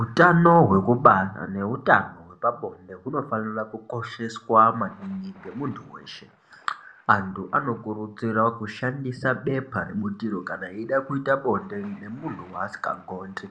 Utano hwekubara nehutano hwe pabonde hunofanira kukosheswa maningi ngemuntu weshe anthu anokurudzirwa kushandisa bepa rebutiro kana eida kuita bonde nemunhu waasikagondi